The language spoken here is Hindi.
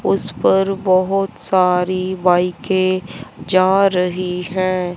उस पर बहुत सारी बाईकें जा रही है।